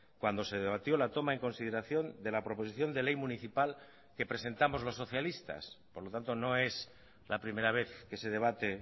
cuando se debatió la toma en consideración de la proposición de ley municipal que presentamos los socialistas por lo tanto no es la primera vez que se debate